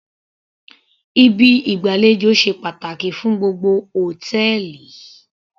Ibi ìgbàlejò ṣe pàtàkì fún gbogbo hòtẹ́ẹ̀lì